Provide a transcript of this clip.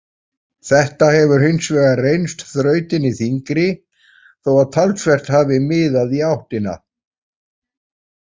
Þetta hefur hins vegar reynst þrautin þyngri þó að talsvert hafi miðað í áttina.